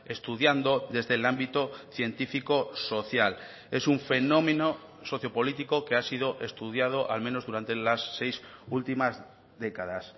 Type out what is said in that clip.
estudiando desde el ámbito científico social es un fenómeno socio político que ha sido estudiado al menos durante las seis últimas décadas